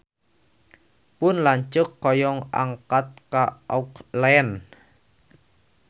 Pun lanceuk hoyong angkat ka Auckland